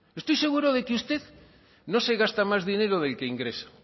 estoy seguro de que usted no se gasta más dinero del que ingresa